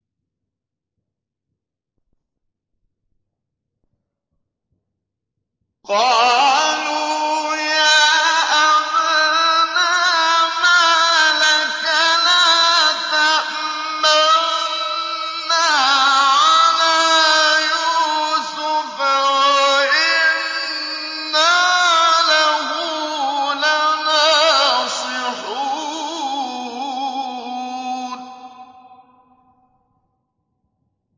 قَالُوا يَا أَبَانَا مَا لَكَ لَا تَأْمَنَّا عَلَىٰ يُوسُفَ وَإِنَّا لَهُ لَنَاصِحُونَ